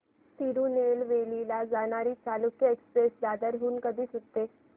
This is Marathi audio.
तिरूनेलवेली ला जाणारी चालुक्य एक्सप्रेस दादर हून कधी सुटते